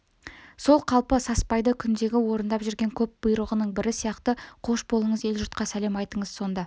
сол қалпы саспайды күндегі орындап жүрген көп бұйрығының бірі сияқты қош болыңыз ел-жұртқа сәлем айтыңыз сонда